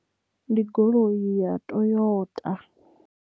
Ndi goloi ya Toyota.